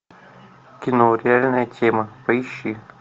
кино реальная тема поищи